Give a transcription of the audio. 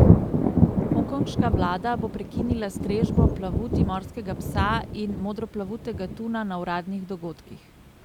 Hongkonška vlada bo prekinila strežbo plavuti morskega psa in modroplavutega tuna na uradnih dogodkih.